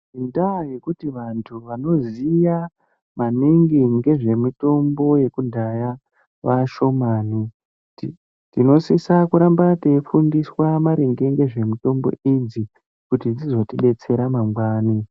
Ndaa yekuti vantu vanoziya ngezvemutombo yekudhaya vashomani ,tinosisa kuramba teifunda ngezvemitombo idzi kuti tizodetsereka mangwani.